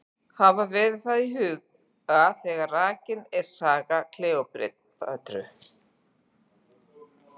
Hafa verður það í huga þegar rakin er saga Kleópötru.